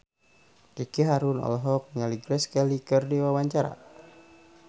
Ricky Harun olohok ningali Grace Kelly keur diwawancara